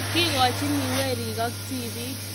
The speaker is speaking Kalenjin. kikochiniwerik ak tibik